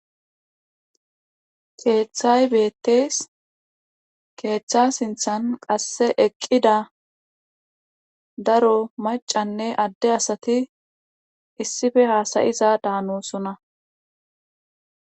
Keethay beettees keetha sinthan qasse eqqid a daro maccanne adde asati issife haasa7iza daanosona.